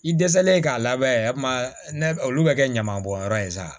I dɛsɛlen k'a labɛn olu bɛ kɛ ɲama bɔnyɔrɔ ye sa